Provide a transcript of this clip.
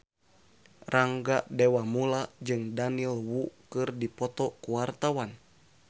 Rangga Dewamoela jeung Daniel Wu keur dipoto ku wartawan